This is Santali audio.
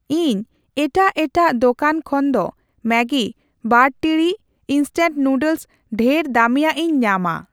ᱤᱧ ᱮᱴᱟᱜ ᱮᱴᱟᱜ ᱫᱚᱠᱟᱱ ᱠᱷᱚᱱᱫᱚ ᱢᱮᱜᱜᱤ ᱵᱟᱨ ᱴᱤᱲᱤᱡ ᱤᱱᱥᱴᱮᱞ ᱱᱩᱰᱞᱮᱥ ᱰᱷᱮᱨ ᱫᱟᱹᱢᱤᱭᱟᱜ ᱤᱧ ᱧᱟᱢᱟ ᱾